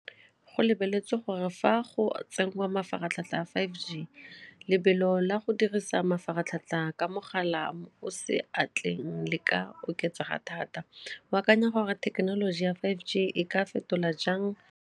Go lebeletswe gore fa go tsengwa mafaratlhatlha a five G, lebelo la go dirisa mafaratlhatlha ka mogala mo o seatleng le ka oketsega thata, o akanya gore thekenoloji ya five G e ka fetola jang?